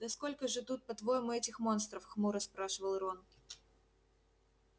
да сколько же тут по-твоему этих монстров хмуро спрашивал рон